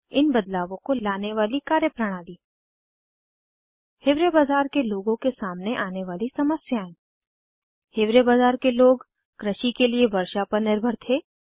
इन बदलावों को लाने वाली कार्यप्रणाली हिवारे बाजार के लोगों के सामने आने वाली समस्याएं हिवारे बाजार के लोग कृषि के लिए वर्षा पर निर्भर थे